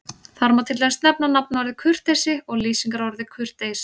Þar má til dæmis nefna nafnorðið kurteisi og lýsingarorðið kurteis.